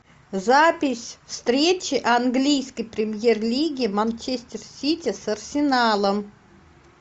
запись встречи английской премьер лиги манчестер сити с арсеналом